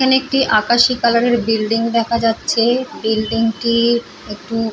এখানে একটি আকাশী কালার -এর বিল্ডিং দেখা যাচ্ছে। বিল্ডিং -টি একটু--